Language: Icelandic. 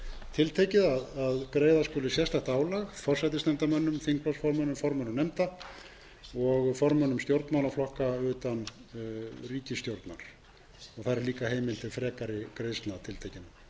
tiltekið að greiða skuli sérstakt álag forsætisnefndarmönnum þingflokksformönnum formönnum nefnda og formönnum stjórnmálaflokka utan ríkisstjórnar þar er líka heimild til frekari greiðslna